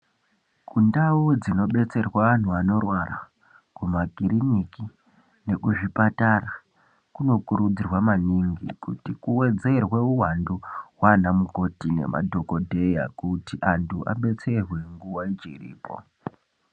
Ku ndau dzino betserwa anhu anorwara ku makiriniki neku zvipatara kuno kurudzirwa maningi kuti ku wedzerwe uwandu hwana mukoti ne madhokodheya kuti antu abetserwe nguva ichiripo.